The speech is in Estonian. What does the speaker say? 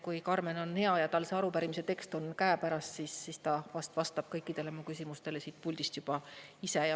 Kui Karmen on hea ja tal see arupärimise tekst on käepärast, siis ta ehk vastab kõikidele mu küsimustele siit puldist juba ise.